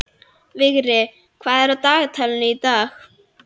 Vigri, hvað er á dagatalinu í dag?